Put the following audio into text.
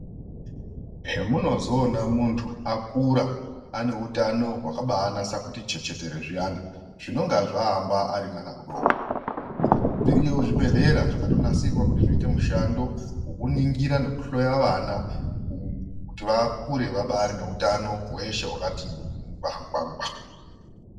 Zvemunozoona muntu akura ane utano hwakabanasa kuti chechetere zviyana zvinenge zvaamba ari mwana mudoko. Zviriyo zvibhedhlera zvakatonasirwa kuti zviite mushando vekuningira nekuhloya vana kuti vakure vabarine utano hweshe hwakati ngwangwa.